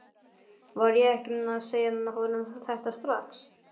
Varð ég ekki að segja honum þetta strax?